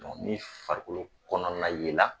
ni farikolo kɔnɔna yela